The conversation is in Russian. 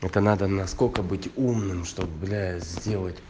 это надо насколько быть умным чтобы блять сделать